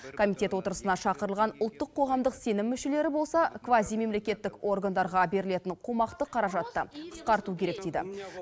комитет отырысына шақырылған ұлттық қоғамдық сенім мүшелері болса квазимемлекеттік органдарға берілетін қомақты қаражатты қысқарту керек дейді